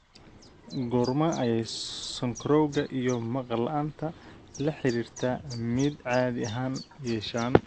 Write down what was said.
Goorma ayay sonkorowga iyo maqal la'aanta la xiriirta MIDD caadi ahaan yeeshaan?